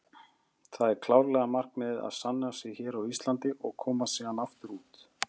Það er klárlega markmiðið að sanna sig hér á Íslandi og komast síðan aftur út.